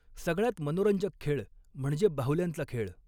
सगळयात मनोरंजक खेळ म्हणजे बाहुल्यांचा खेळ.